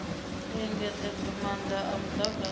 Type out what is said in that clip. u engedzedzwa maanda a mudagasi